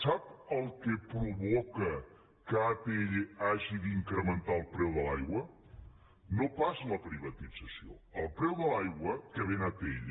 sap el que provoca que atll hagi d’incrementar el preu de l’aigua no pas la privatització el preu de l’aigua que ven atll